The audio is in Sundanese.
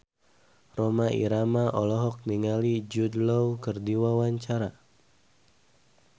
Rhoma Irama olohok ningali Jude Law keur diwawancara